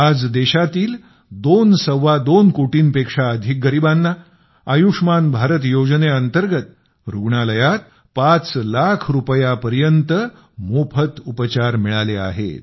आज देशातील दोन सव्वा दोन कोटींपेक्षा अधिक गरिबांना आयुष्मान भारत योजनेअंतर्गत रुग्णालयात पाच लाख रुपयांपर्यंत मोफत उपचार मिळाले आहेत